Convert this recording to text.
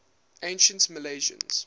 ancient milesians